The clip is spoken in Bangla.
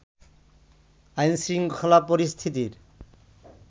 আইনশৃঙ্খলা পরিস্থিতির